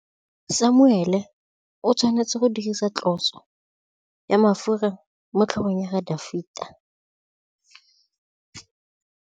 Samuele o tshwanetse go dirisa tlotsô ya mafura motlhôgong ya Dafita.